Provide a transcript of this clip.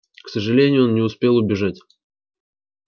к сожалению он не успел убежать